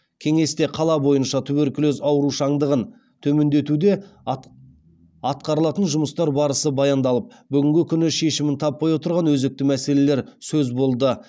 кеңесте қала бойынша туберкулез аурушаңдығын төмендетуде атқарылатын жұмыстар барысы баяндалып бүгінгі күні шешімін таппай отырған өзекті мәселелер сөз болды